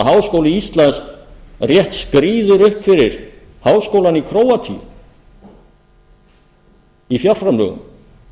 háskóli íslands rétt skríður upp fyrir háskólann í króatíu í fjárframlögum